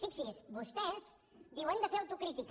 fixi’s vostès diuen de fer autocrítica